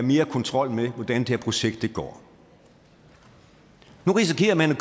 mere kontrol med hvordan det her projekt går nu risikerer man